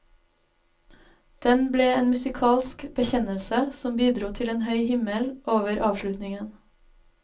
Den ble en musikalsk bekjennelse som bidro til en høy himmel over avslutningen.